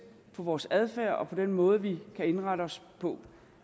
på vores adfærd og på den måde vi kan indrette os